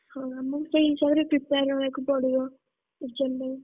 ହଁ ଆମକୁ ସେଇ ହିସାବରେ prepare ହବାକୁପଡିବ, exam ପାଇଁ।